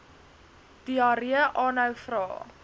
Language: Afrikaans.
diarree aanhou vra